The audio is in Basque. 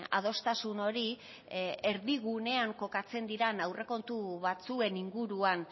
adostasun hori erdigunean kokatzen dira aurrekontu batzuen inguruan